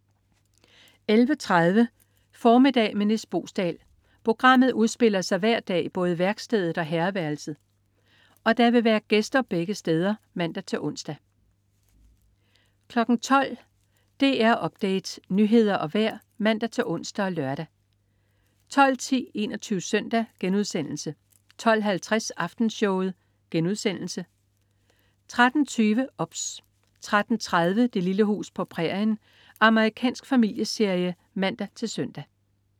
11.30 Formiddag med Nis Boesdal. Programmet udspiller sig hver dag i både værkstedet og herreværelset, og der vil være gæster begge steder (man-ons) 12.00 DR Update. Nyheder og vejr (man-ons og lør) 12.10 21 Søndag* 12.50 Aftenshowet* 13.20 OBS 13.30 Det lille hus på prærien. Amerikansk familieserie (man-søn)